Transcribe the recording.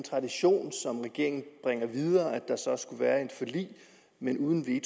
tradition som regeringen bringer videre altså at der skulle være et forlig men uden en